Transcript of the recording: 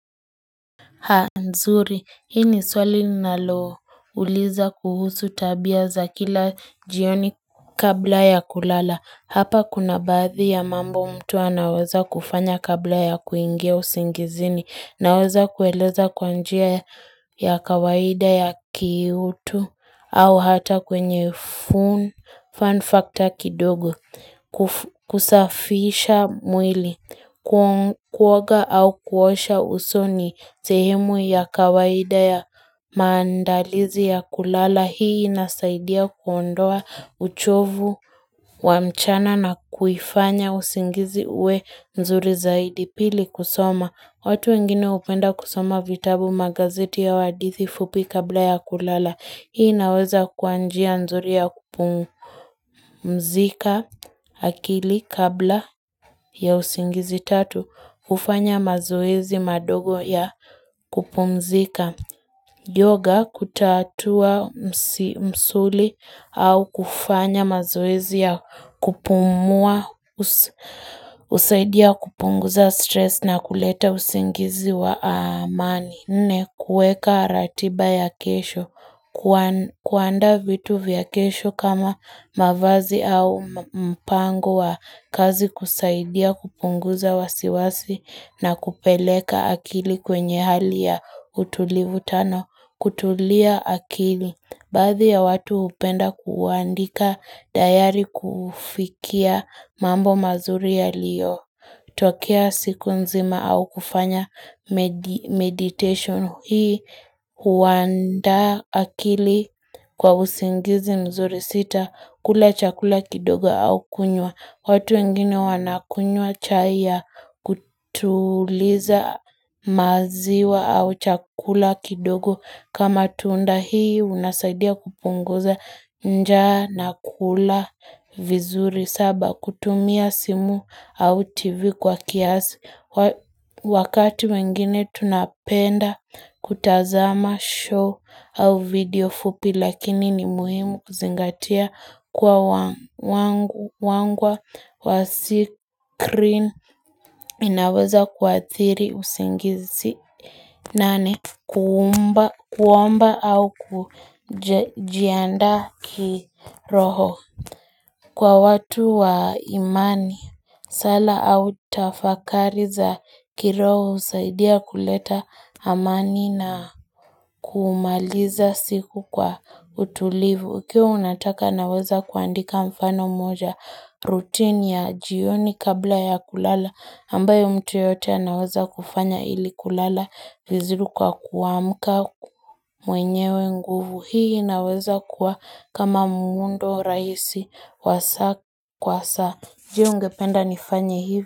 Haa nzuri, hii ni swali ninalouliza kuhusu tabia za kila jioni kabla ya kulala. Hapa kuna baadhi ya mambo mtu anaweza kufanya kabla ya kuingia usingizini. Naweza kueleza kwa njia ya ya kawaida ya ki utu au hata kwenye fun factor kidogo kusafisha mwili, kuoga au kuosha uso ni sehemu ya kawaida ya maandalizi ya kulala. Hii inasaidia kuondoa uchovu wa mchana na kuifanya usingizi uwe nzuri zaidi, pili kusoma. Watu wengine hupenda kusoma vitabu magazeti au hadithi fupi kabla ya kulala. Hii inaweza kuwa njia nzuri ya kupungumzika akili kabla ya usingizi tatu. Hufanya mazoezi madogo ya kupumzika. Yoga kutatua msuli au kufanya mazoezi ya kupumua, husaidia kupunguza stress na kuleta usingizi wa amani. Nne, kuweka ratiba ya kesho, kuandaa vitu vya kesho kama mavazi au mpango wa kazi kusaidia kupunguza wasiwasi na kupeleka akili kwenye hali ya utulivu. Tano, kutulia akili. Baadhi ya watu hupenda kuandika dayari kufikia mambo mazuri yaliyo. Tokea siku nzima au kufanya meditation, hii huandaa akili kwa usingizi mzuri. Sita, kula chakula kidogo au kunywa. Watu wengine wanakunywa chai ya kutuliza maziwa au chakula kidogo kama tunda hii unasaidia kupunguza njaa na kula vizuri. Saba kutumia simu au tv kwa kiasi Wakati wengine tunapenda kutazama show au video fupi lakini ni muhimu kuzingatia kuwa wangwa wa sikrini inaweza kuathiri usingizi. Nane kuumba kuomba au kujiandaa kiroho Kwa watu wa imani, sala au tafakari za kiroho husaidia kuleta amani na kumaliza siku kwa utulivu. Ukiwa unataka naweza kuandika mfano moja rutini ya jioni kabla ya kulala. Ambayo mtu yeyote anaweza kufanya ili kulala. Vizuri kwa kuamka mwenyewe nguvu. Hii inaweza kuwa kama muundo rahisi wa saa kwa saa. Je, ungependa nifanya hivyo?